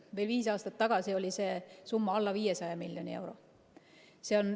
Veel viis aastat tagasi oli see summa alla 500 miljoni euro.